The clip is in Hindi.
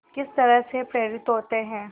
किस तरह से प्रेरित होते हैं